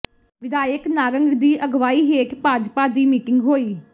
ਵਿਧਾਇਕ ਨਾਰੰਗ ਦੀ ਅਗਵਾਈ ਹੇਠ ਭਾਜਪਾ ਦੀ ਮੀਟਿੰਗ ਹੋਈ